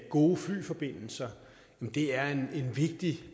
gode flyforbindelser er en vigtig